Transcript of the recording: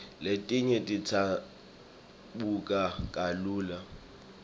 letinye tidzabuka kalula